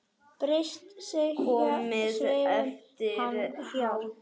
Bretar segjast svara, en hverju?